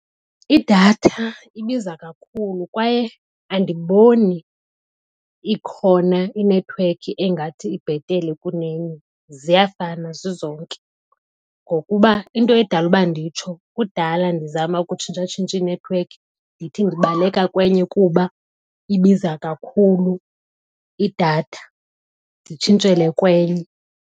Idatha ibiza kakhulu kwaye andiboni ikhona inethiwekhi engathi ibhetele kunenye, ziyafana zizonke. Ngokuba into edala uba nditsho kudala ndizama ukutshintshatshintsha inethiwekhi ndithi ndibaleka kwenye kuba ibiza kakhulu idatha nditshintshele kwenye.